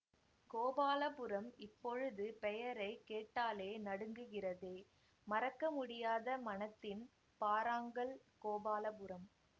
கோபாலபுரம் இப்பொழுது பெயரை கேட்டாலே நடுங்குகிறதே மறக்க முடியாத மனத்தின் பாறாங்கல் கோபாலபுரம்